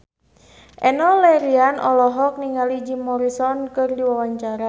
Enno Lerian olohok ningali Jim Morrison keur diwawancara